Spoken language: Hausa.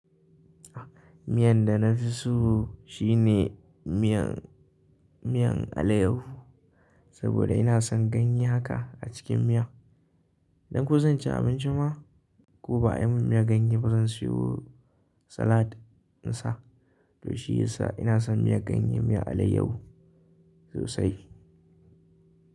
Miyan da na fi so shine miyan, miyan alayyahu saboda ina son ganye haka a cikin miya. Dan ko zan ci abinci ma ko ba a yi min miyan ganye ba, zan sayi salad in sa. To shiyasa ina son miyar ganye, miyar alayyahu sosai.